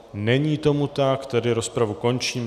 Není tomu tak, tedy rozpravu končím.